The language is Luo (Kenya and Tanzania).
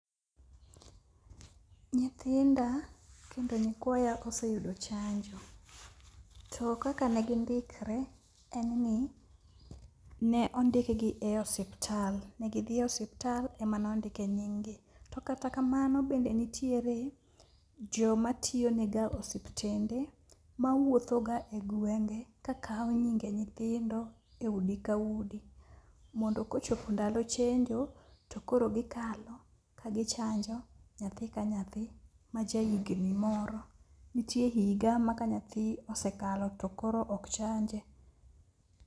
Nyithinda kendo nyikwaya oseyudo chanjo to kaka ne gindikre en ni ne ondikgi e osiptal, ne gidhi e osiptal ema nondike nyinggi. To kata kamano bende nitiere joma tiyonega osiptende mawuothoga e gwenge ka kawo nyinge nyithindo e udi ka udi mondo kochopo ndalo chenjo to koro gikalo ka gichanjo nyathi ka nyathi ma jahigni moro. Nitie higa ma ka nyathi osekalo to koro ok chanje.